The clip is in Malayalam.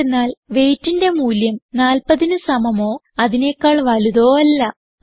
എന്തെന്നാൽ weightന്റെ മൂല്യം 40ന് സമമോ അതിനെക്കാൾ വലുതോ അല്ല